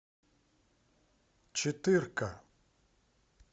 четырка